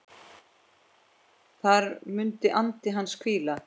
Þar mun andi hans hvíla.